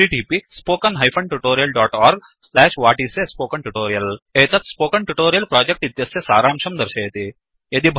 1 एतत् spoken tutorial project इत्यस्य सारांशं दर्शयति